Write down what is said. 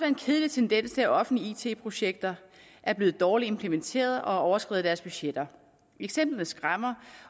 en kedelig tendens til at offentlige it projekter er blevet dårligt implementeret og har overskredet deres budgetter eksemplerne skræmmer